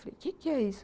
Falei, o quê que é isso?